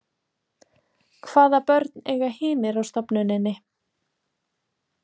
Hvaða börn eiga hinir á stofnuninni?